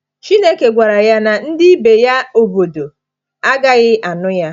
Chineke gwara ya na ndị ibe ya obodo agaghị anụ ya.